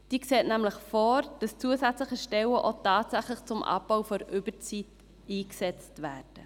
Diese sieht nämlich vor, dass zusätzliche Stellen auch tatsächlich zum Abbau der Überzeit eingesetzt werden.